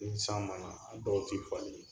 Ni san ma na a dɔw tɛ falen